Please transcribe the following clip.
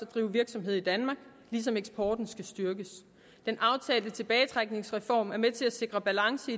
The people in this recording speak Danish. drive virksomhed i danmark ligesom eksporten skal styrkes den aftalte tilbagetrækningsreform er med til at sikre balance